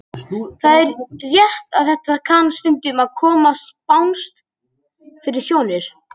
Það er rétt að þetta kann stundum að koma spánskt fyrir sjónir.